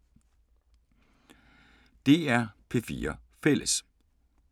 DR P4 Fælles